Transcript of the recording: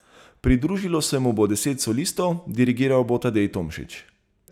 Pridružilo se mu bo deset solistov, dirigiral bo Tadej Tomšič.